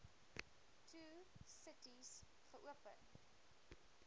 two cities geopen